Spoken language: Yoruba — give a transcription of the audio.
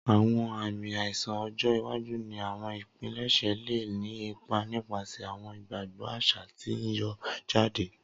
Awọn aami aiṣan ọjọ iwaju ni awọn ipilẹṣẹ le ni ipa nipasẹ awọn igbagbọ aṣa ti n yọ jade.